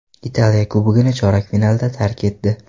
Italiya Kubogini chorak finalda tark etdi.